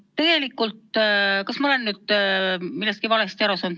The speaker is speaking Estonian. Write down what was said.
No tegelikult, kas ma olen nüüd millestki valesti aru saanud?